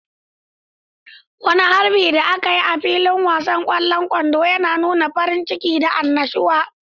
Wani harbin da aka yi a filin wasan kwallon kwando yana nuna farin ciki da annashuwa.